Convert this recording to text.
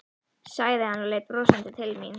sagði hann og leit brosandi til mín.